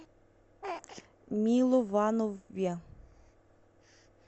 милованове